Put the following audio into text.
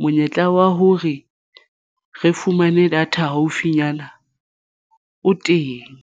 monyetla wa hore re fumane data haufinyana o teng.